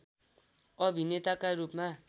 अभिनेताका रूपमा